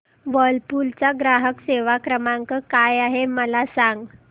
Whirlpool चा ग्राहक सेवा क्रमांक काय आहे मला सांग